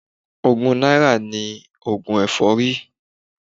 Ogún náírà ni oògùn èfọ́rí.